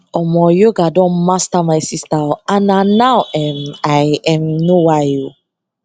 omo yoga don master my sister o and na now um i um know why o